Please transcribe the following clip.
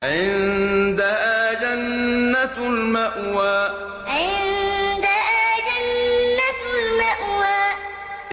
عِندَهَا جَنَّةُ الْمَأْوَىٰ عِندَهَا جَنَّةُ الْمَأْوَىٰ